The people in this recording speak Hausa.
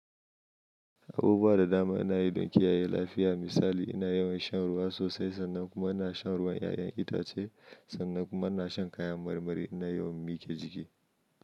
Abubuwa da dama na yi don kiyaye lafiya. Misali ina yawan shan ruwa sosai, sannan kuma ina shan ruwan 'ya'yan itace, sannan kuma ina shan kayan marmari. Ina yawan miƙe jiki.